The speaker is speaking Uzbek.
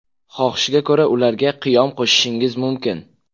Xohishga ko‘ra, ularga qiyom qo‘shishingiz mumkin.